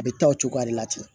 A bɛ taa o cogoya de la ten